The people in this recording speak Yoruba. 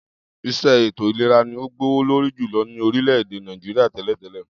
Is̩é̩ ètò ìlera ni ó gbówó lórí jùlo̩ ní orílè̩-èdè Nàìjíríà té̩lè̩té̩lè̩